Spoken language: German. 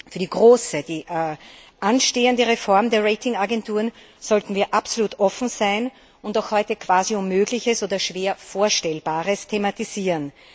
Für die große anstehende Reform der Ratingagenturen sollten wir absolut offen sein und heute quasi Unmögliches oder schwer Vorstellbares thematisieren.